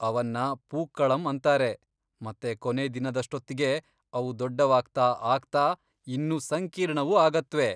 ಅವನ್ನ ಪೂಕ್ಕಳಂ ಅಂತಾರೆ ಮತ್ತೆ ಕೊನೇ ದಿನದಷ್ಟೊತ್ಗೆ ಅವು ದೊಡ್ಡವಾಗ್ತಾ ಆಗ್ತಾ ಇನ್ನೂ ಸಂಕೀರ್ಣವೂ ಆಗತ್ವೆ.